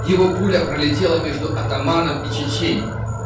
его пуля пролетела между атаманом и чиченей